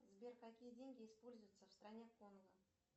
сбер какие деньги используются в стране конго